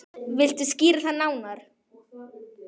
Viltu skýra það nánar?